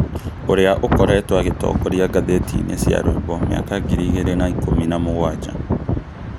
ũrĩa ũkoretwo agĩtongoria ngathĩti-inĩ cia rwĩmbo mĩaka ngiri igĩrĩ na ikũmi na mũgwanja